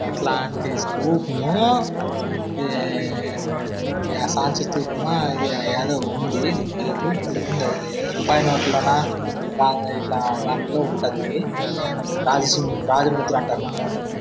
ఇట్లాంటి స్కూల్ లో ఇది శాంతి స్థూపము ఇది ఎదో ఉంది. దీని పేరు భలే ఉంది. ఇది ఇట్లా దాంట్లో ఉంటది ఇది. రాజ సిం-రాజ ముద్ర అంటారు దాని.